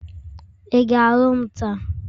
ị ga alụ m taa?